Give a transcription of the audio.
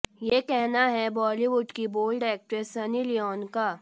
ये कहना है बॉलीवुड की बोल्ड एक्ट्रेस सनी लियोन का